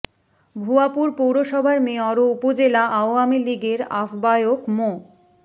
ভুয়াপুর পৌরসভার মেয়র ও উপজেলা আওয়ামী লীগের আহ্বায়ক মো